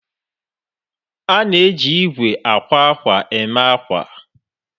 A na-eji igwe akwa akwa eme akwa